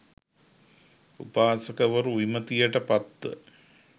උපාසකවරු, විමතියට පත්ව,